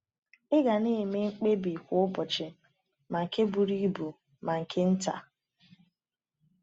Ị ga na-eme mkpebi kwa ụbọchị, ma nke buru ibu ma nke nta.